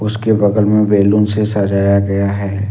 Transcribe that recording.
उसके बगल में बैलून से सजाया गया है।